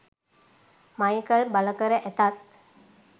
Michael බලකර ඇතත්